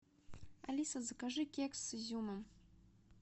алиса закажи кекс с изюмом